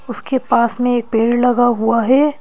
उसके पास में एक पेड़ लगा हुआ है।